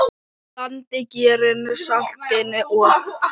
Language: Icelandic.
Blandið gerinu, saltinu og?